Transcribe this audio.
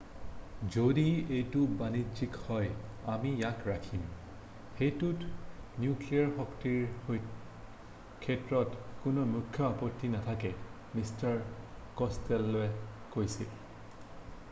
"""যদি এইটো বাণিজ্যিক হয় আমি ইয়াক ৰাখিম। সেইটোত নিউক্লিয়েৰ শক্তিৰ ক্ষেত্ৰত কোনো মুখ্য আপত্তি নাথাকে" মিষ্টাৰ ক'ছটেল'ৱে কৈছিল।""